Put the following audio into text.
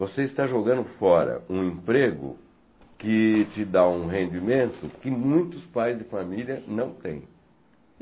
Você está jogando fora um emprego que te dá um rendimento que muitos pais de família não têm.